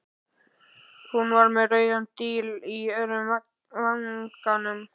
Hún var með rauðan díl í öðrum vanganum.